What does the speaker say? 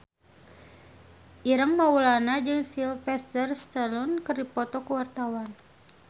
Ireng Maulana jeung Sylvester Stallone keur dipoto ku wartawan